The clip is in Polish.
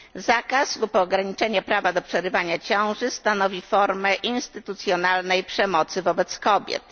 Zakaz lub ograniczenie prawa do przerywania ciąży stanowi formę instytucjonalnej przemocy wobec kobiet.